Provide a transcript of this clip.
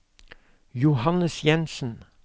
Johannes Jensen